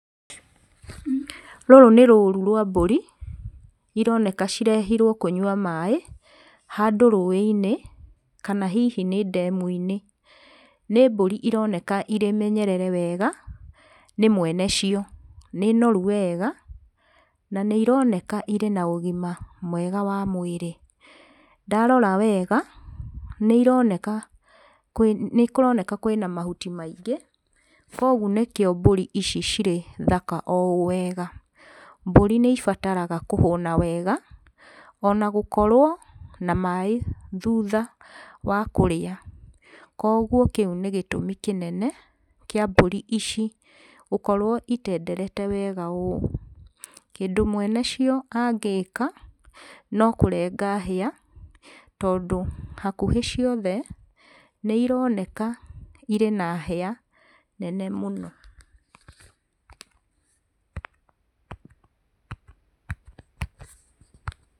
Rũrũ nĩ rũru rwa mbũri, ironeka cirehirwo kũnyua maaĩ handũ rũĩ-inĩ kana hihi nĩ ndemu-inĩ. Nĩ mbũri ironeka irĩ menyerere wega nĩ mwene cio. Nĩ noru wega na nĩ ironeka irĩ na ũgima mwega wa mwĩrĩ. Ndarora wega nĩironeka kwĩ, nĩkũroneka kwĩna mahuti maingĩ kogu nĩkĩo mbũri ici cirĩ thaka oũũ wega. Mbũri nĩ ibataraga kũhũna wega ona gũkorwo na maaĩ thutha wa kũrĩa, koguo kĩu nĩ gĩtũmi kĩnene kĩa mbũri ici gũkorwo itenderete wega ũũ. Kĩndũ mwene cio angĩka, no kũrenga hĩa tondũ hakuhĩ ciothe nĩironeka irĩ na hĩa nene mũno.